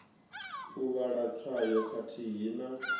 u vhala tswayo khathihi na